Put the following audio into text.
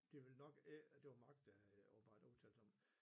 Det ville nok ikke det var Mark der havde åbenbart udtalt sig om det